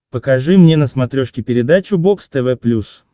покажи мне на смотрешке передачу бокс тв плюс